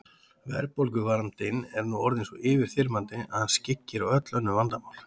Verðbólguvandinn er nú orðinn svo yfirþyrmandi að hann skyggir á öll önnur vandamál.